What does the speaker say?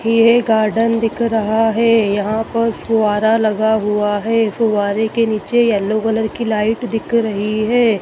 ये गार्डन दिख रहा है यहां पर फुआरा लगा हुआ है फुआरे के नीचे येलो कलर की लाइट दिख रही है।